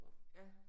Ja